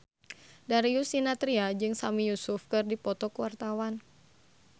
Darius Sinathrya jeung Sami Yusuf keur dipoto ku wartawan